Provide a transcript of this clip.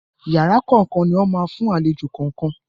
Yàrá kọ̀ọ̀kan ni wọ́n máa fún àlejò kọ̀ọ̀kan.